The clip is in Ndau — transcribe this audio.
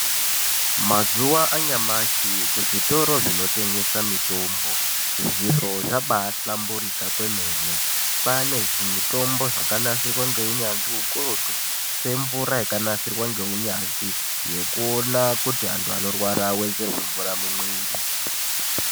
Mazuva anyamashi kuzvitoro zvinotengese mitombo zviro zvabaahlamburika kwemene. Kwaane zvimitombo zvakanasirwa ngeunyanzvi ukurutu. Semvura yakanasirwa ngeunyanzvi yekuona kuti antu vanorwara vavedzerwe mvura mumwiri.